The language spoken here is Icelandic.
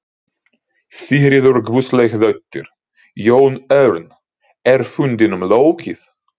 Sigríður Guðlaugsdóttir: Jón Örn, er fundinum lokið?